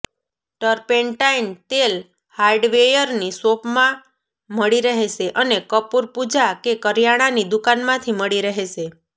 turpentine તેલ હાર્ડવેયરની શોપમાં મળી રહેશે અને કપૂર પૂજા કે કરિયાણાની દુકાનમાંથી મળી રહેશે